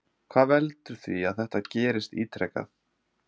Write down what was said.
Hvað veldur því að þetta gerist ítrekað?